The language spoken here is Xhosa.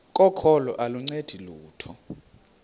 kokholo aluncedi lutho